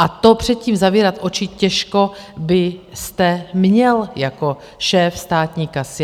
A před tím zavírat oči těžko byste měl jako šéf státní kasy.